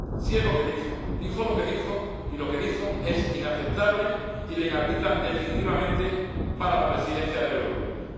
Sí es lo que dijo dijo lo que dijo, y lo que dijo es inaceptable y le inhabilita definitivamente para la presidencia del Eurogrupo.